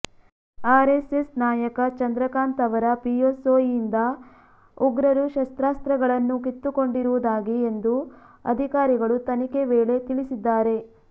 RSS ನಾಯಕ ಚಂದ್ರಕಾಂತ್ ಅವರ ಪಿಎಸ್ಒಯಿಂದ ಉಗ್ರರು ಶಸ್ತ್ರಾಸ್ತ್ರಗಳನ್ನು ಕಿತ್ತುಕೊಂಡಿರುವುದಾಗಿ ಎಂದು ಅಧಿಕಾರಿಗಳು ತನಿಖೆ ವೇಳೆ ತಿಳಿಸಿದ್ದಾರೆ